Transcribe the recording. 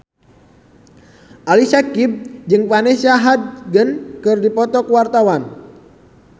Ali Syakieb jeung Vanessa Hudgens keur dipoto ku wartawan